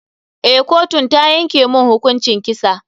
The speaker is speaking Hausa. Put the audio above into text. Eh, kotun ta yanke mun hukuncin kisa.